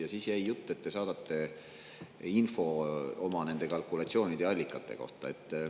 Ja siis jäi jutt, et te saadate info oma kalkulatsioonide ja allikate kohta.